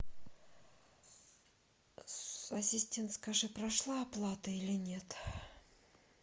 ассистент скажи прошла оплата или нет